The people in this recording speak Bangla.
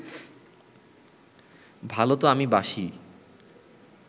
ভালো তো আমি বাসিই